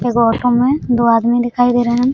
एगो ऑटो में दो आदमी दिखाई दे रहे हैं।